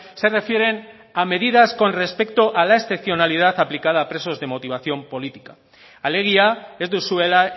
se refieren a medidas con respecto a la excepcionalidad aplicada a presos de motivación política alegia ez duzuela